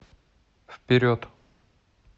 вперед